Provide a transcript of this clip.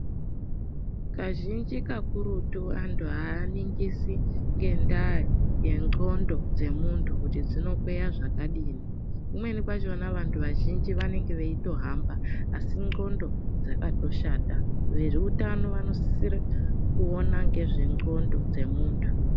Kazhinji kakurutu antu haaningisi ngendaa yendxondo dzemuntu kuti dzinokweya zvakadini. Kumweni kwachona vantu vanenge eitohamba asi ndxondo dzakatoshata. Veutano vanosisire kuona nezvendxondo dzemuntu.